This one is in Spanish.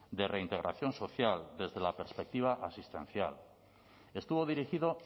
de reintegración social desde la perspectiva asistencial estuvo dirigido